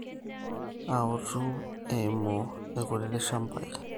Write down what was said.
Autu eimu irkiutitik shambai